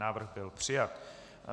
Návrh byl přijat.